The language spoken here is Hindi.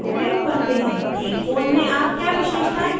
एक फ़ोन में आप क्या विशेषतायें देख रहे हैं